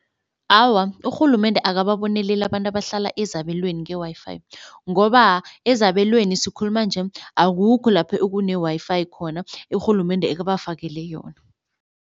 Awa urhulumende akababoneleli abantu abahlala ezabelweni nge-Wi-Fi, ngoba ezabelweni sikhuluma nje akukho lapho ekune-Wi-Fi khona urhulumende ekebafakele yona.